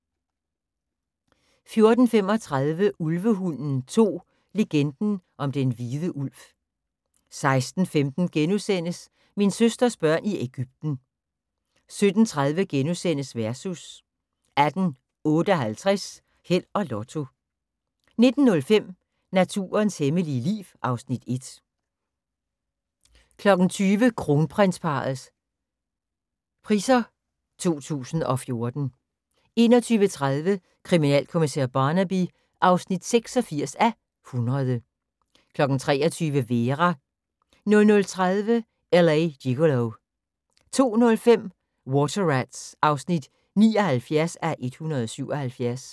14:35: Ulvehunden 2: Legenden om den hvide ulv 16:15: Min søsters børn i Ægypten * 17:30: Versus * 18:58: Held og Lotto 19:05: Naturens hemmelige liv (Afs. 1) 20:00: Kronprinsparrets Priser 2014 21:30: Kriminalkommissær Barnaby (86:100) 23:00: Vera 00:30: L.A. Gigolo 02:05: Water Rats (79:177)